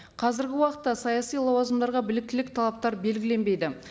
қазіргі уақытта саяси лауазымдарға біліктілік талаптар белгіленбейді